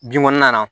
Binkɔnɔna na